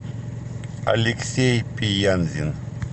алексей пиянзин